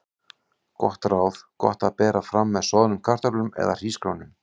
Gott ráð: Gott að bera fram með soðnum kartöflum eða hrísgrjónum.